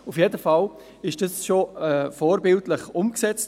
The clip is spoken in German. Auf jeden Fall wurde sie vorbildlich umgesetzt.